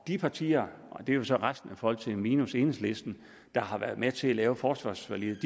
de partier og det er jo så resten af folketinget minus enhedslisten der har været med til at lave forsvarsforliget